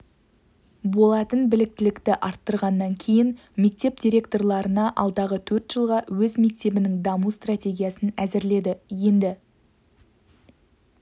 болатын біліктілікті арттырғаннан кейін мектеп директорлары алдағы төрт жылға өз мектебінің даму стратегиясын әзірледі енді